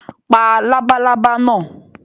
Pa labalábá náà!